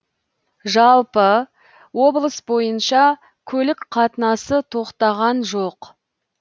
жалпы облыс бойынша көлік қатынасы тоқтаған жоқ